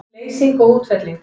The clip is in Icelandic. Leysing og útfelling